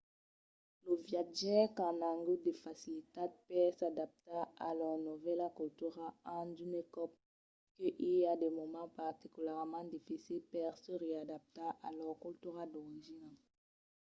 los viatjaires qu’an agut de facilitat per s’adaptar a lor novèla cultura an d’unes còp que i a de moments particularament dificils per se readaptar a lor cultura d’origina